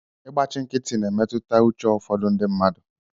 Ịgbachi nkịtị na-emetụta uche ụfọdụ ndị mmadụ